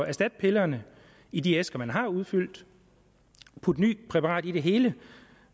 erstatte pillerne i de æsker man allerede har udfyldt putte nyt præparat i det hele